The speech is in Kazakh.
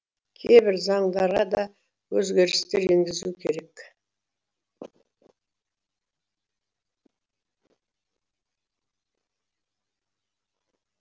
кейбір заңдарға да өзгерістер енгізу керек